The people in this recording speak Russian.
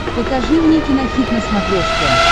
покажи мне кинохит на смотрешке